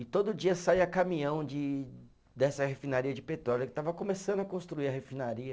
E todo dia saía caminhão de, dessa refinaria de petróleo, que estava começando a construir a refinaria.